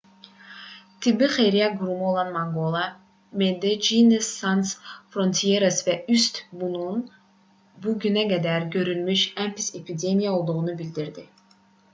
tibbi xeyriyyə qurumu olan mangola medecines sans frontieres və üst bunun ölkədə bu günə qədər görülmüş ən pis epidemiya olduğunu bildirdi